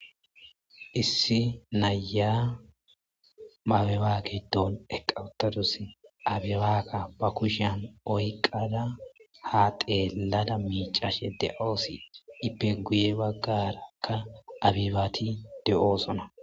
issi naya abeba gidoon eqa utadus abibaaka ba kushiyan oyqada ha teelada miicaashe de7oossi ipeguye baggarakka abibaati de7oosona